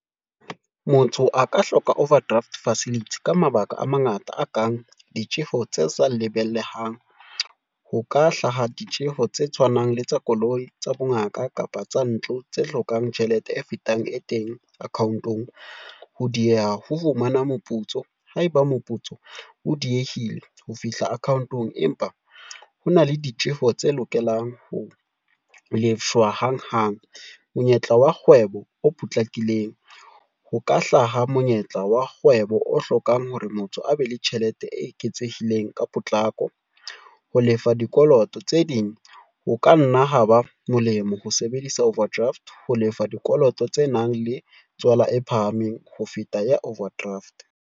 Motho a ka hloka overdraft facility ka mabaka a mangata a kang ditjeho tse sa lebelehang. Ho ka hlaha ditjeho tse tshwanang le tsa koloi, tsa bongaka kapa tsa ntlo, tse hlokang tjhelete e fetang e teng account-ong. Ho dieha ho fumana moputso haeba moputso o diehile ho fihla account-ong, empa hona le ditjeho tse lokelang ho lefshwa hanghang. Monyetla wa kgwebo o potlakileng, ho ka hlaha monyetla wa kgwebo o hlokang hore motho a be le tjhelete e eketsehileng ka potlako. Ho lefa dikoloto tse ding ho ka nna ha ba molemo ho sebedisa overdraft, ho lefa dikoloto tse nang le tswala e phahameng ho feta ya overdraft.